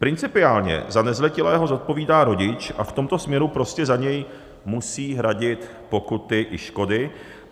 Principiálně za nezletilého zodpovídá rodič a v tomto směru prostě za něj musí hradit pokuty i škody.